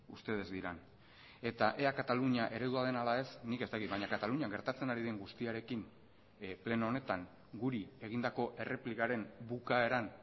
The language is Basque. ustedes dirán eta ea katalunia eredua den ala ez nik ez dakit baina katalunian gertatzen ari den guztiarekin pleno honetan guri egindako erreplikaren bukaeran